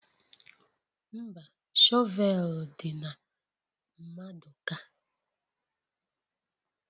Mba, shọvel dị na maduka